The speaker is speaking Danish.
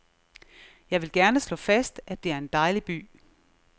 Jeg vil gerne slå fast, at det er en dejlig by.